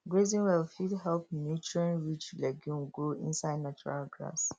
grazing well fit help nutrientrich legume grow inside natural grass